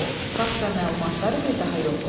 Fakt və məlumatları bir daha yoxla.